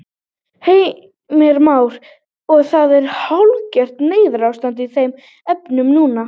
Heimir Már: Og það er hálfgert neyðarástand í þeim efnum núna?